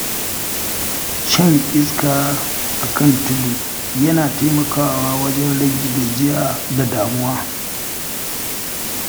Shan iska a kan tudu yana taimakawa wajen rage gajiya da damuwa.